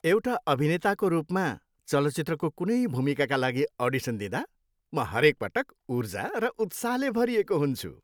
एउटा अभिनेताको रूपमा, चलचित्रको कुनै भूमिकाका लागि अडिसन दिँदा म हरेकपटक ऊर्जा र उत्साहले भरिएको हुन्छु।